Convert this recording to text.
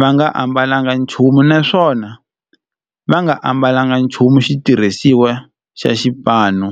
va nga ambalanga nchumu naswona va nga ambalanga nchumu xitirhisiwa xa xipano.